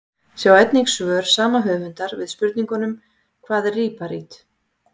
Sjá einnig svör sama höfundar við spurningunum: Hvað er líparít?